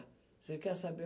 Você quer saber?